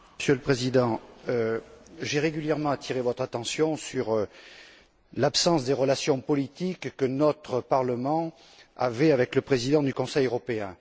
Monsieur le Président, j'ai régulièrement attiré votre attention sur l'absence des relations politiques que notre Parlement avait avec le président du Conseil européen.